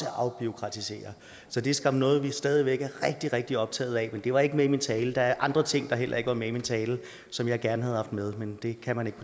at afbureaukratisere så det er skam noget vi stadig væk er rigtig rigtig optaget af men det var ikke med i min tale der er andre ting der heller ikke var med i min tale som jeg gerne havde haft med men det kan man